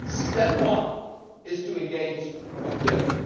And step one is to engage with Turkey.